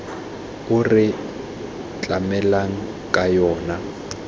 o re tlamelang ka yona